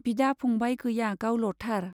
बिदा-फंबाय गैया गावल'थार।